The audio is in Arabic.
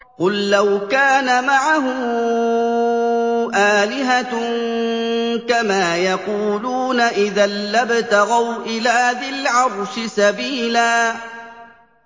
قُل لَّوْ كَانَ مَعَهُ آلِهَةٌ كَمَا يَقُولُونَ إِذًا لَّابْتَغَوْا إِلَىٰ ذِي الْعَرْشِ سَبِيلًا